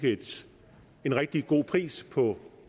en rigtig god pris på